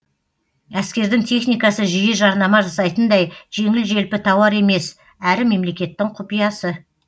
әскердің техникасы жиі жарнама жасайтындай жеңіл желпі тауар емес әрі мемлекеттің құпиясы